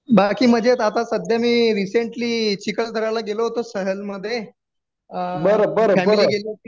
बाकी मजेत आता सध्या मी रिसेंटली चिखलदऱ्या ला गेलो होतो सहल मधे फॅमिली गेली होती.